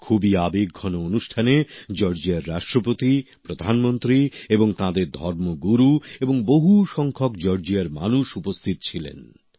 খুবই আবেগঘন অনুষ্ঠানে জর্জিয়ার রাষ্ট্রপতি প্রধানমন্ত্রী তাঁদের ধর্ম গুরু এবং বহু সংখ্যক জর্জিয়ার মানুষ উপস্থিত ছিলেন